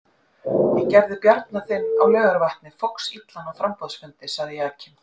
Ég gerði Bjarna þinn á Laugarvatni foxillan á framboðsfundi, sagði Jakinn.